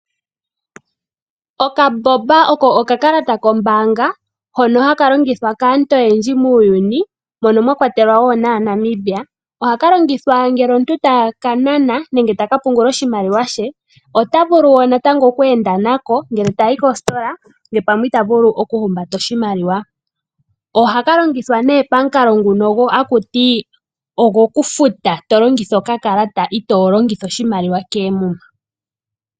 Okaboba oko okakalata kombaanga hono haka longithwa kaantu oyendji muuyuni mono mwa kwatelwa wo naaNamibia. Ohaka longithwa ngele omuntu taka nana nenge ta ka pungula oshimaliwa she. Ota vulu wo oku enda nako ngele ta tyi koositola ngele pamwe ota vulu okuhumbata oshimaliwa. Ohaka longithwa pamukalo ngono ngono gokufuta to longitha okakalata itoo longitha oshimaliwa koomuma.